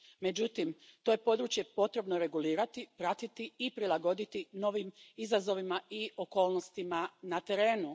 Međutim, to je područje potrebno regulirati, pratiti i prilagoditi novim izazovima i okolnostima na terenu.